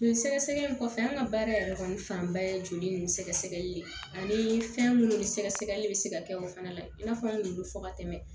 Joli sɛgɛsɛgɛ in kɔfɛ an ka baara yɛrɛ kɔni fanba ye joli ninnu sɛgɛsɛgɛli ye ani fɛn minnu ni sɛgɛsɛgɛli bɛ se ka kɛ o fana i n'a fɔ an y'olu bɛ fɔ ka tɛmɛ